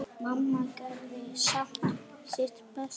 Mamma gerði samt sitt besta.